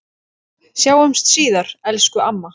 Sjáumst síðar, elsku amma.